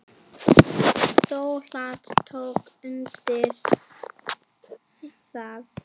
Donald tók undir það.